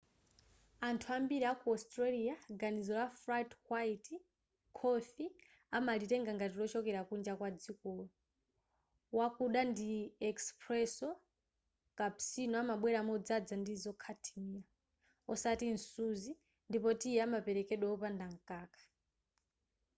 anthu ambiri aku australia ganizo la ‘flat white’ khofi amalitenga ngati lochokera kunja kwadzikolo. wakuda ndi ‘espresso’ cappuccino amabwera modzadza ndi zokhatimira osati msuzi ndipo tiyi amaperekedwa opanda mkaka